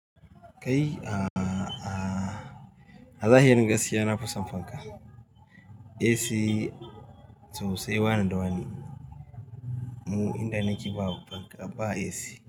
Kai a, a, a zahirin gaskiya na fi son fanka. AC to sai wane da wane mu inda nake ba fanka ba AC.